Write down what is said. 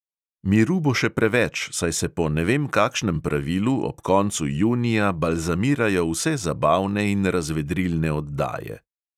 Miru bo še preveč, saj se po ne vem kakšnem pravilu ob koncu junija balzamirajo vse zabavne in razvedrilne oddaje.